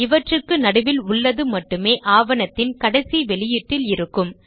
இவற்றுக்கு நடுவில் உள்ளது மட்டுமே ஆவணத்தின் கடைசி வெளியீட்டில் இருக்கும்